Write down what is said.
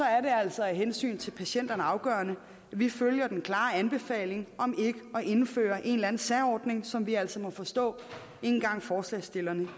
er det altså af hensyn til patienterne afgørende at vi følger den klare anbefaling om ikke at indføre en eller anden særordning som vi altså må forstå ikke engang forslagsstillerne